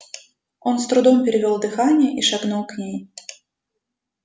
он с трудом перевёл дыхание и шагнул к ней